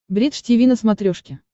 бридж тиви на смотрешке